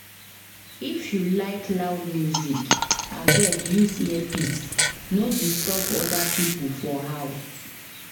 If you like loud music, abeg use earpiece, no disturb other people for house.